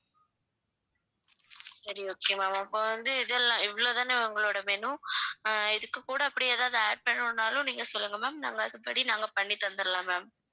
சரி okay ma'am இப்ப வந்து இதெல்லாம் இவ்வளவு தானே உங்களுடைய menu அஹ் இதுக்கு கூட அப்படி எதாவது add பண்ணனும் நாலும் நீங்க சொல்லுங்க ma'am நாங்க அதுபடி நாங்க பண்ணி தந்திடலாம் ma'am